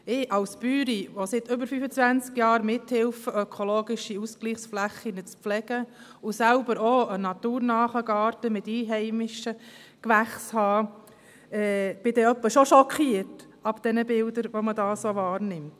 Ich als Bäuerin, die seit über fünfundzwanzig Jahren mithelfe, ökologische Ausgleichsflächen zu pflegen und selbst auch einen naturnahen Garten mit einheimischen Gewächsen habe, bin dann jeweils schon schockiert über die Bilder, die man so wahrnimmt.